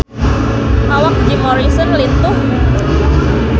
Awak Jim Morrison lintuh